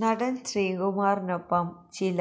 നടന് ശ്രീകുമാറിനൊപ്പം ചില